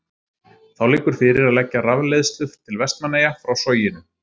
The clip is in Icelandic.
Þá liggur fyrir að leggja rafleiðslu til Vestmannaeyja frá Soginu.